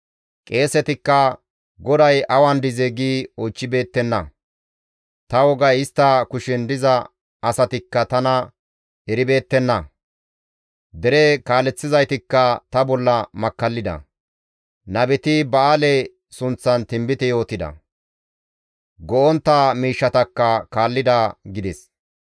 Qeesetikka, ‹GODAY awan dizee?› gi oychchibeettenna; Ta wogay istta kushen diza asatikka tana eribeettenna. Dere kaaleththizaytikka ta bolla makkallida. Nabeti Ba7aale sunththan tinbite yootida; go7ontta miishshatakka kaallida» gides.